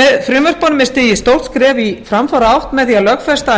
með frumvörpunum er stigið stórt skref í framfaraátt með því að lögfesta að